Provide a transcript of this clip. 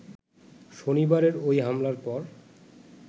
শনিবারের ঐ হামলার পর